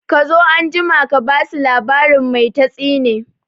Kazo anjima ka basu labarin mai tatsine